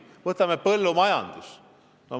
Veel näiteks põllumajandus.